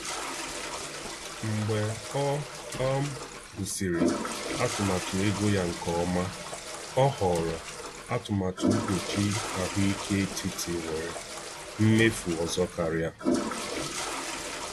Mgbe ọ um gụsịrị atụmatụ ego ya nke ọma, ọ họrọ atụmatụ mkpuchi ahụike etiti nwere mmefu ọzọ karịa.